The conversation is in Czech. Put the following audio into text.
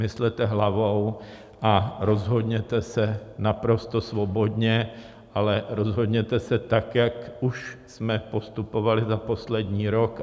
Myslete hlavou a rozhodněte se naprosto svobodně, ale rozhodněte se tak, jak už jsme postupovali za poslední rok.